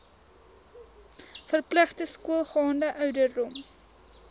verpligte skoolgaande ouderdom